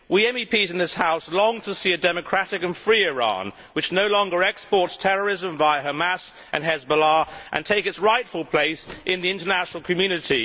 We MEPs in this House long to see a democratic and free Iran, which no longer exports terrorism via Hamas and Hezbollah, and takes its rightful place in the international community.